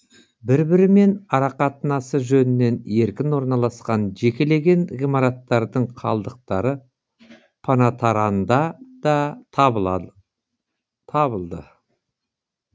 бір бірімен арақатынасы жөнінен еркін орналасқан жекелеген ғимараттардың қалдықтары панатаранда да табылды